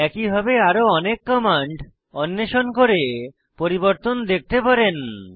একইভাবে আরো অনেক কমান্ড অন্বেষণ করে পরিবর্তন দেখতে পারেন